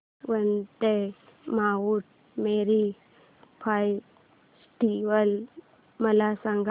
Vandre Mount Mary festival मला सांग